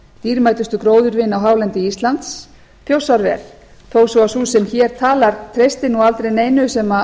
dýrmætustu gróðurvin á hálendi íslands þjórsárver þó svo að sú sem hér talar treysti nú aldrei neinu sem